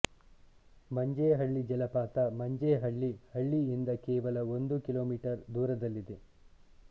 ಮಂಜೇಹಳ್ಳಿ ಜಲಪಾತ ಮಂಜೇಹಳ್ಳಿ ಹಳ್ಳಿಯಿಂದ ಕೇವಲ ಒಂದು ಕಿಲೋಮೀಟರ್ ದೂರದಲ್ಲಿದೆ